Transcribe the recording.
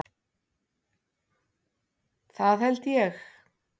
Það held ég.